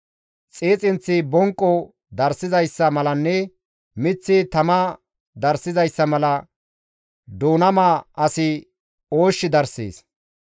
Xiixinththi bonqo darssizayssa malanne miththi tamaa darssizayssa mala, doonama asi oosh darssees.